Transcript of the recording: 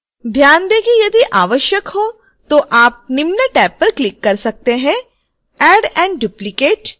ध्यान दें कि यदि आवश्यक हो तो आप निम्न टैब पर क्लिक कर सकते हैं add & duplicate